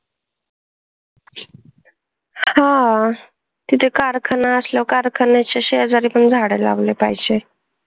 हा. जे कारखाना असला कारखान्याच्या शेजारी पण झाडं लावले पाहिजे.